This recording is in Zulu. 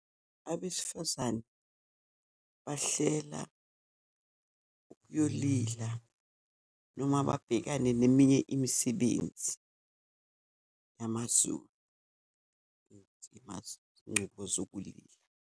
Abesifazane bahlela ukuyolila noma babhekane neminye imisebenzi yamaZulu, incubo zokulila.